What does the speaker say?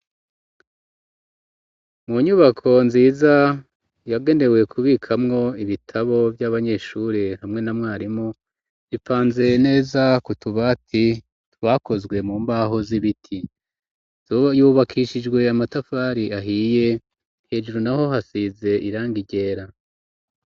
Mu nyubako nziza yagenewe kubikamwo ibitabo vy'abanyeshuri hamwe na mwarimu bipanze neza kutuba ati twakozwe mu mbaho z'ibiti yubakishijwe amatafari ahiye hejuru naho hasize iranga ryera.